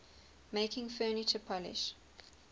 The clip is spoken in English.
making furniture polish